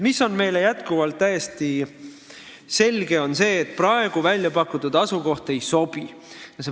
Meile on jätkuvalt täiesti selge, et praegu pakutud asukoht ei sobi.